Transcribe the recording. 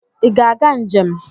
I ga-aga njem?